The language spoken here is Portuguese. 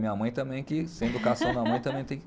Minha mãe também, que sem educação da mãe também tem que...